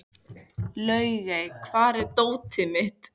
Laugey, hvar er dótið mitt?